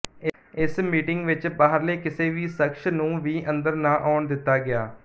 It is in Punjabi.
ਇਸ ਮੀਟਿੰਗ ਵਿੱਚ ਬਾਹਰਲੇ ਕਿਸੇ ਵੀ ਸ਼ਖ਼ਸ ਨੂੰ ਵੀ ਅੰਦਰ ਨਾ ਆਉਣ ਦਿਤਾ ਗਿਆ